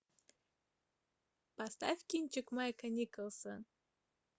поставь кинчик майка николса